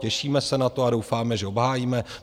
Těšíme se na to a doufáme, že obhájíme.